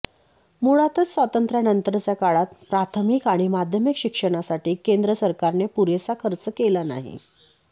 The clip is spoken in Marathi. मुळातच स्वातंत्र्यानंतरच्या काळात प्राथमिक आणि माध्यमिक शिक्षणासाठी केंद्र सरकारने पुरेसा खर्च केला नाही